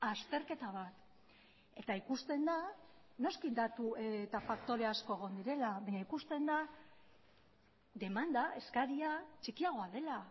azterketa bat eta ikusten da noski datu eta faktore asko egon direla baina ikusten da demanda eskaria txikiagoa dela